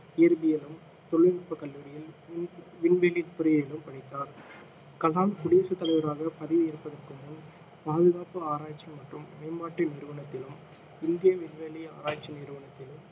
இயற்பியலும் தொழில்நுட்பக் கல்லூரியில் வி~ விண்வெளி பொறியியலும் படித்தார் கலாம் குடியரசுத் தலைவராக பதவி ஏற்பதற்கு முன் பாதுகாப்பு ஆராய்ச்சி மற்றும் மேம்பாட்டு நிறுவனத்திலும் இந்திய விண்வெளி ஆராய்ச்சி நிறுவனத்திலும்